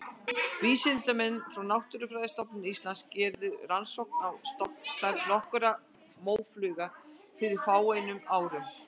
Vísindamenn frá Náttúrufræðistofnun Íslands gerðu rannsóknir á stofnstærð nokkurra mófugla fyrir fáeinum árum.